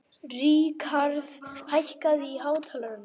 Rikharð, hækkaðu í hátalaranum.